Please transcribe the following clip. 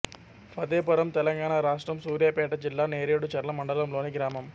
ఫతేపురం తెలంగాణ రాష్ట్రం సూర్యాపేట జిల్లా నేరేడుచర్ల మండలంలోని గ్రామం